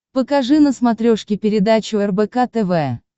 покажи на смотрешке передачу рбк тв